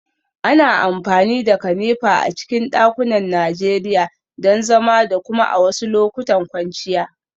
Ana amfani da kanefa a cikin dakunan Najeriya don zama da kuma a wasu lokutan kwanciya